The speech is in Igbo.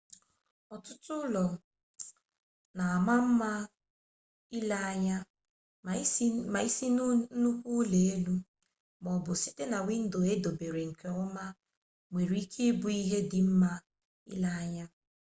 ọtụtụ ụlọ na-ama mma ile anya ma isi na nnukwu ụlọelu maọbụ site na windo e dobere nke ọma nwere ike ịbụ ihe dị mma ile anya